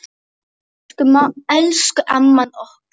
Elsku amman okkar.